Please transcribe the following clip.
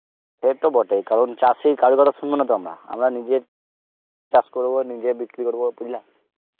সে তো বটেই কারণ চাষীর কারোর কথা সুনব না তো আমরা, আমরা নিজে চাস করব নিজে বিক্রি করব বুজলা?